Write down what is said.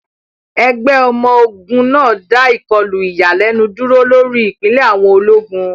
Ẹgbẹ́ ọmọ ogun náà dá ìkọlù ìyàlẹ́nu dúró lórí ìpìlẹ̀ àwọn ológun.